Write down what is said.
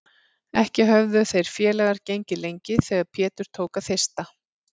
Ekki höfðu þeir félagar gengið lengi þegar Pétur tók að þyrsta.